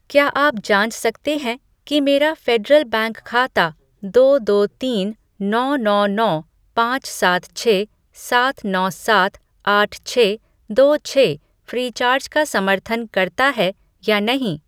क्या आप जाँच सकते हैं कि मेरा फ़ेडरल बैंक खाता दो दो तीन नौ नौ नौ पाँच सात छः सात नौ सात आठ छः दो छः फ़्रीचार्ज का समर्थन करता है या नहीं?